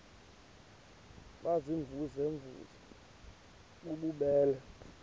baziimvuze mvuze bububele